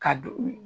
Ka don